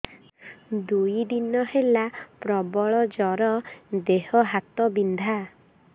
ଦୁଇ ଦିନ ହେଲା ପ୍ରବଳ ଜର ଦେହ ହାତ ବିନ୍ଧା